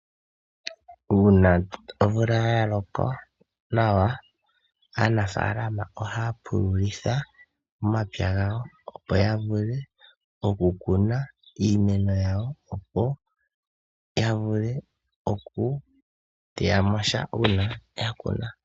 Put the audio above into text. Uuna omvula ya loka nawa aanafaalama oha ya pululitha omapya gawo, opo ya vule oku kuna iimeno yawo, opo ya vule oku teya mosha uuna ya kuna.